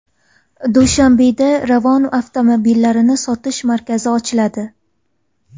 Dushanbeda Ravon avtomobillarini sotish markazi ochiladi.